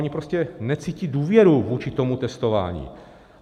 Oni prostě necítí důvěru vůči tomu testování.